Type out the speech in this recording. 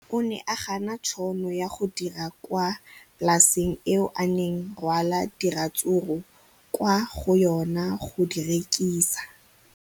O ne a gana tšhono ya go dira kwa polaseng eo a neng rwala diratsuru kwa go yona go di rekisa.